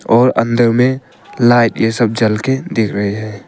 और अंदर में लाइट यह सब जल के देख रहे हैं।